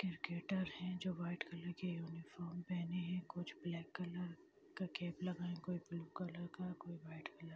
cricketer है जो white colour के यूनीफार्म पहने है कुछ ब्लैक कलर का कैप लगाए कोई ब्लू कलर का कोई व्हाइट कलर